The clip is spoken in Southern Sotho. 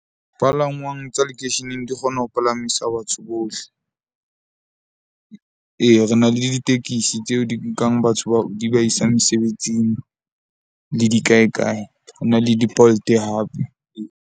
Palangwang tsa lekeisheneng di kgona ho palamisa batho bohle. Ee, re na le ditekisi tseo di nkang batho bao di ba isang mesebetsing le di kae kae. Ho na le di-Bolt hape.